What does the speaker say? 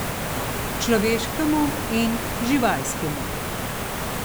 Človeškemu in živalskemu.